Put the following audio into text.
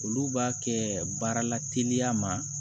Olu b'a kɛ baarala teliya ma